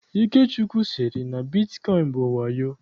Ikechukwu sịrị na bitkọịn bụ wayo.